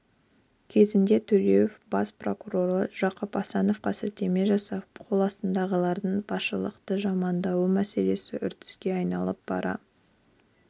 кезінде төлеев бас прокуроры жақып асановқа сілтеме жасап қоластындағылардың басшылықты жамандауы мәселесі үрдіске айналып бара